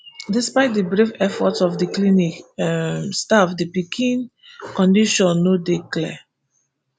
despite di brave efforts of di clinic um staff di pikin condition no dey clear